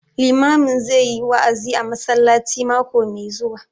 Limamin zai yi wa'azi a masallaci mako mai zuwa